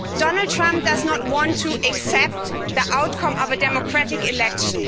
Donald Trump does not want to accept the outcome of a democratic election.